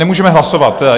Nemůžeme hlasovat.